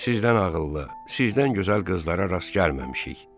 Sizdən ağıllı, sizdən gözəl qızlara rast gəlməmişik.